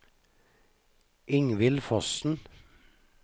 Ingvild Fossen